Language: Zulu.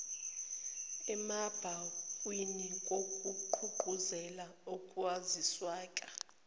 emabhukwini ngokugqugquzela ukwaziseka